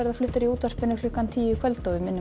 fluttar í útvarpi klukkan tíu í kvöld og við minnum